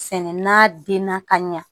Sɛnɛ na den na ka ɲa